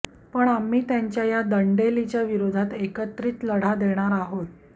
पण आम्ही त्यांच्या या दंडेलीच्या विरोधात एकत्रित लढा देणार आहोत